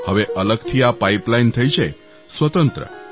હવે અલગથી આ પાઇપલાઇન થઈ છે સ્વતંત્ર